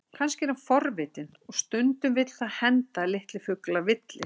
Kannski er hann forvitinn, og stundum vill það henda að litlir fuglar villist.